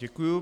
Děkuju.